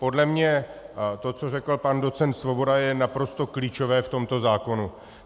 Podle mě to, co řekl pan docent Svoboda, je naprosto klíčové v tomto zákonu.